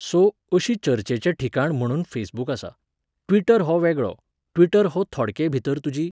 So, अशी चर्चेचें ठिकाण म्हुणून फेसबुक आसा. ट्विटर हो वेगळो, ट्विटर हो थोडकेभितर तुजी